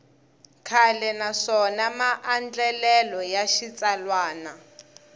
kahle naswona maandlalelo ya xitsalwana